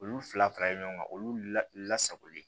Olu fila faralen ɲɔgɔn kan olu lasagolen